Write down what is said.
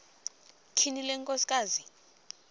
tyhini le nkosikazi